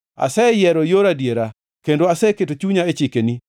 Aseyiero yor adiera; kendo aseketo chunya e chikeni.